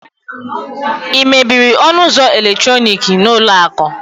ị mebiri ọnụ ụzọ eletrọnịkị n'ụlọ akụ?